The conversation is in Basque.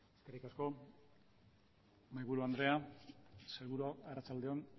eskerrik asko mahaiburu andrea sailburuak arratsalde on